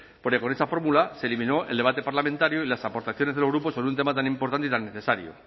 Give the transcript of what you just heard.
porque con esa fórmula se eliminó el debate parlamentario y las aportaciones de los grupos sobre un tema tan importante y tan necesario